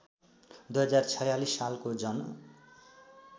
२०४६ सालको जन